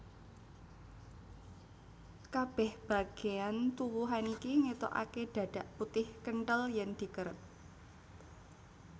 Kabèh bagéyan tuwuhan iki ngetokaké dhadhak putih kenthel yèn dikeret